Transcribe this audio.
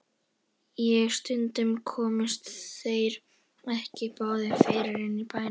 Og stundum komust þeir ekki báðir fyrir inni í bænum.